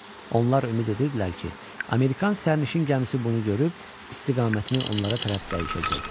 Onlar ümid edirdilər ki, Amerikan sərnişin gəmisi bunu görüb istiqamətini onlara tərəf dəyişəcək.